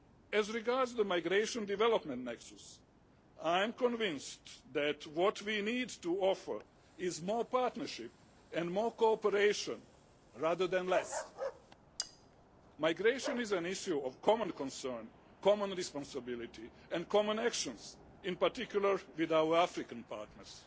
As regards the Migration and Development Nexus, I am convinced that what we need to offer is more partnership and more cooperation rather than less. Migration is an issue of common concern, common responsibility and common actions, in particular with our African partners.